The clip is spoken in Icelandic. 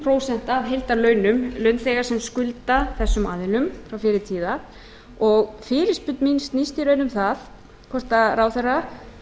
prósent af heildarlaunum launþega sem skulda þessum aðilum og fyrirspurn mín snýst í raun um það hvort ráðherra